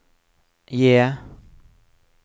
J